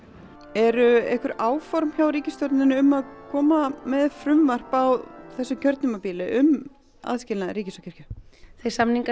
eru einhver áform hjá ríkisstjórninni um að koma með frumvarp á þessu kjörtímabili um aðskilnað ríkis og kirkju þeir samningar